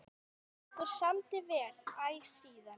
Okkur samdi vel æ síðan.